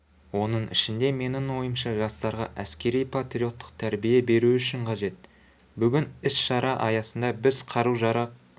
оның ішінде менің ойымша жастарға әскери-патриоттық тәрбие беру үшін қажет бүгін іс-шара аясында біз қару-жарақ